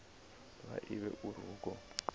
vha ivhe uri hu khou